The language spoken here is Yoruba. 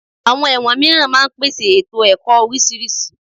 Àwọn ẹ̀wọ̀n mìíràn máa ń pèsè ètò ẹ̀kọ́ oríṣiríṣi